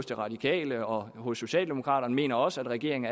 de radikale og og socialdemokraterne mener også at regeringen